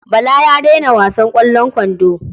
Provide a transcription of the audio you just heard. Bala ya daina wasan ƙwallon kwando.